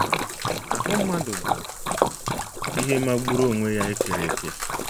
Ahụ́ mmadụ bụ ihe magburu onwe ya e kere eke!